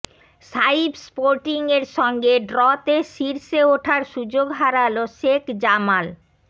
সাইফ স্পোর্টিংয়ের সঙ্গে ড্রতে শীর্ষে ওঠার সুযোগ হারাল শেখ জামাল